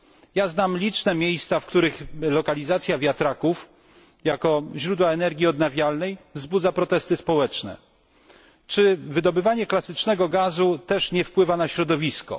Ja znam liczne miejsca, w których lokalizacja wiatraków jako źródła energii odnawialnej, wzbudza protesty społeczne. Czy, w Pańskiej opinii, wydobywanie klasycznego gazu też nie wpływa na środowisko?